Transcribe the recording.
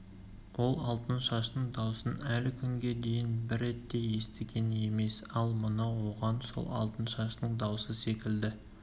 ол алтыншаштың даусын әлі күнге дейін бір рет те естіген емес ал мынау оған сол алтыншаштың даусы секілді